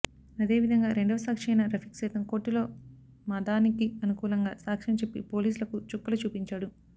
అదే విదంగా రెండవ సాక్షి అయిన రఫీక్ సైతం కోర్టులో మదానికి అనుకూలంగా సాక్షం చెప్పి పోలీసులకు చుక్కలు చూపించాడు